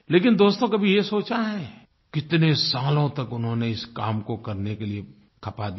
लेकिन दोस्तो कभी ये सोचा है कितने सालों तक उन्होंने इस काम को करने के लिए खपा दिए